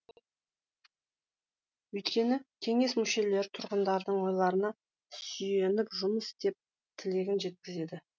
өйткені кеңес мүшелері тұрғындардың ойларына сүйеніп жұмыс істеп тілегін жеткізеді